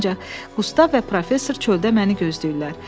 Ancaq Qustav və professor çöldə məni gözləyirlər.